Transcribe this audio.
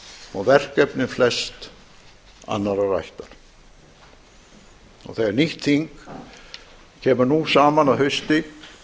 og verkefni flest annarrar ættar þegar nýtt þing kemur nú saman að hausti